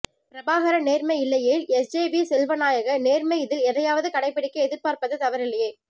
பிரபாகர நேர்மை இல்லையேல் S J V செல்வநாயக நேர்மை இதில் எதையாவது கடைப்பிடிக்க எதிர்பார்ப்பது தவறில்லையே